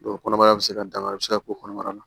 kɔnɔbara bɛ se ka dankari bɛ se ka k'o kɔnɔbara la